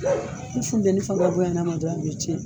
Ni funteni fanga bonya a a dɔrɔn a bɛ tiɲɛ